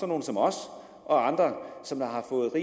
nogle som os og andre som har